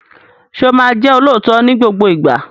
Sọ ma jẹ́ olóòótọ́ ní gbogbo ìgbà?